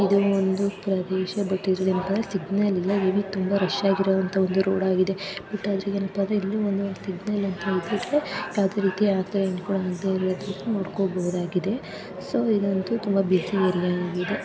ಇದು ಒಂದು ಪ್ರದೇಶ ಮತ್ತಿಲ್ಲಿ ಒಂದು ಸಿಗ್ನಲ್ಸ್‌ ಇದೆ ತುಂಬಾ ರಶ್‌ ಆಗಿರುವಂತಹ ರೋಡ್‌ ಆಗಿದೆ ಇದು ಇಲ್ಲಿ ಒಂದು ಸಿಗ್ನಲ್‌ ಇರೋದ್ರಿಂದ ಯಾವುದೇ ರಿತೀಯ ಆಕ್ಸಿಡೆಂಟ್‌ ಆಗದೇ ಇರುವ ರೀತಿ ನೋಡಿಕೊಳ್ಳಬಹುದಾಗಿದೆ ಸೊ ಇದು ಅಂಥೂ ತುಂಬಾ ಬ್ಯೂಸಿ ಆಗಿದೆ.